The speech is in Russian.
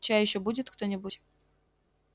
чай ещё будет кто-нибудь